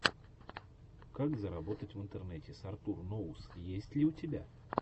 как заработать в интернете с артур ноус есть ли у тебя